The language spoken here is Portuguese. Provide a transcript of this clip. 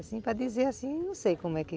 Assim, para dizer assim, não sei como é que...